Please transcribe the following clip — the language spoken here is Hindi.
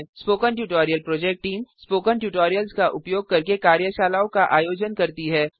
spoken tutorial project team spoken tutorials का उपयोग करके कार्यशालाओं का आयोजन करती है